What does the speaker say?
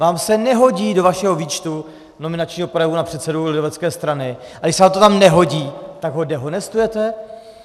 Vám se nehodí do vašeho výčtu nominačního projevu na předsedu lidovecké strany, a když se vám to tam nehodí, tak ho dehonestujete?